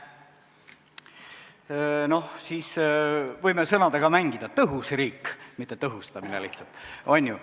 No siis võime sõnadega mängida: tõhus riik, mitte tõhustamine, on ju.